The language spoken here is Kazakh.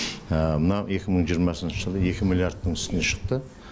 мына екі мың жиырмасыншы жылы екі миллиардтың үстіне шықты